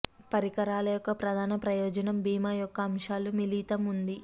పరికరాల యొక్క ప్రధాన ప్రయోజనం భీమా యొక్క అంశాలు మిళితం ఉంది